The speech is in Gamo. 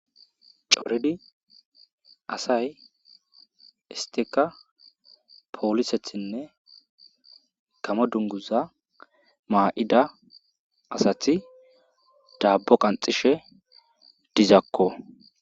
Coridi asay istika polisetine gamo dunguza mayida asati dabo qanxishe dizako